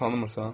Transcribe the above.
Onu tanımırsan?